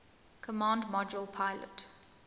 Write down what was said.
command module pilot